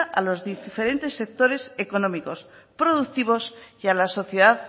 a los diferentes sectores económicos productivos y a la sociedad